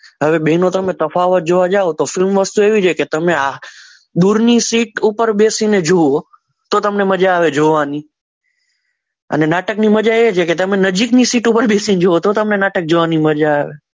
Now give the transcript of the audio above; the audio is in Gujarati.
હવે બહેનો તમે તફાવત જોવા જાઓ તો ફિલ્મ વસ્તુ એવી છે કે તમે દૂરની સીટ ઉપર બેસીને જોવો તો તમને મજા આવે જોવાની અને નાટકની મજા એ છે કે તમે નજીકની સીટ ઉપર બેસીને જુઓ તો તમને નાટક જોવાની મજા આવે